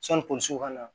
Sani polisiw ka na